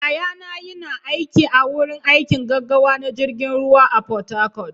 yayana yina aiki a wurin aikin gaggawa na jirgin ruwa a port-harcourt